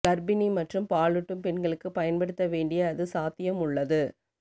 கர்ப்பிணி மற்றும் பாலூட்டும் பெண்களுக்கு பயன்படுத்த வேண்டிய அது சாத்தியம் உள்ளது